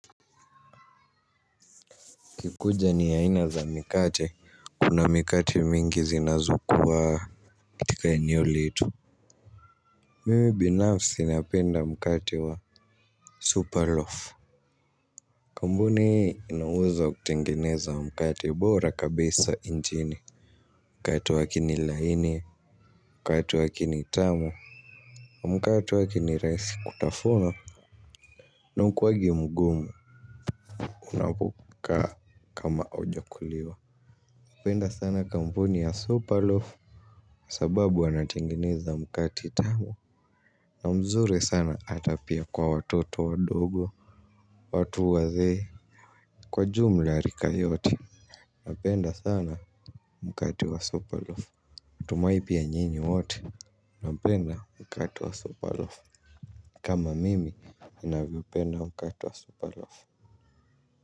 Ikikuja ni aina za mikate, kuna mikate mingi zinazokuwa katika eneo letu mimi binafsi napenda mkate wa supa loaf. Kampuni ina uwezo wa kutengeneza mkate bora kabisa nchini. Mkate wake ni laini, mkate wake ni tamu. Mkate wake ni rahisi kutafuna. Na haukuwangi mgumu unapokaa kama hujakuliwa napenda sana kampuni ya supa loaf. Sababu wanatengeneza mkate tamu. Na mzuri sana hata pia kwa watoto wadogo. Watu wazee kwa jumla rika yote napenda sana mkate wa supa loaf natumai pia nyinyi wote. Napenda mkate wa supa loaf. Kama mimi ninavyopenda mkate wa supa loaf.